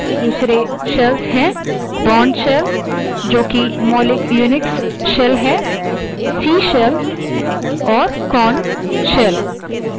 दूसरे shells हैं bourne shell sh जो कि मौलिक unix shells है c shell csh और korn shell ksh